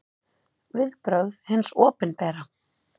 Viðbrögð hins opinbera